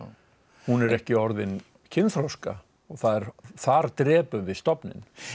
hún er ekki orðin kynþroska þar þar drepum við stofninn